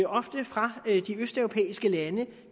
ofte fra de østeuropæiske lande